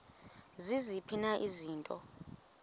ziziphi na izinto